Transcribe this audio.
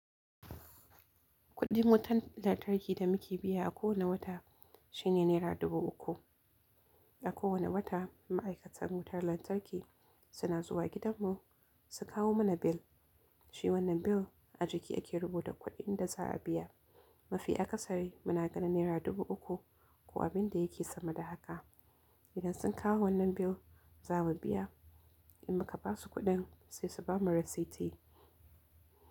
Kuɗin wutar lantarki da muke biya a kowane wata shine naira dubu uku. A kowane wata ma'aikatan wutar lantarki suna zuwa gidanmu su kawo mana bil. Shi wannan bil a jiki ake rubuta kuɗin da za a biya. Mafi a kasari muna ganin naira dubu uku ko abin da yake sama da haka. Idan sun kawo wannan bil za mu biya, in muka basu kuɗin sai su bamu risiti.